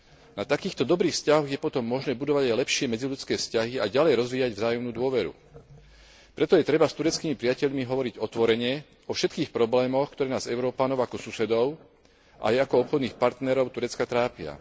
Na takýchto dobrých vzťahoch je potom možné budovať aj lepšie medziľudské vzťahy a ďalej rozvíjať vzájomnú dôveru. Preto je treba s tureckými priateľmi hovoriť otvorene o všetkých problémoch, ktoré nás Európanov ako susedov aj ako obchodných partnerov Turecka trápia.